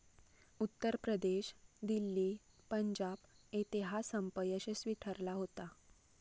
उत्तर प्रदेश, दिल्ली, पंजाब येते हा संप यशस्वी ठरला होता.